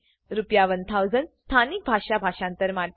રૂ1000 સ્થાનિક ભાષામાં ભાષાંતર માટે